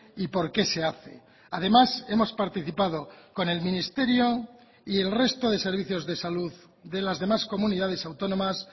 y por qué se hace además hemos participado con el ministerio y el resto de servicios de salud de las demás comunidades autónomas